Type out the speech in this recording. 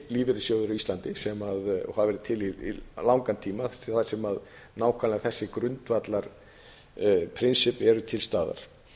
á íslandi og hafa verið til í langan tíma þar sem nákvæmlega þessi grundvallarprinsipp eru til staðar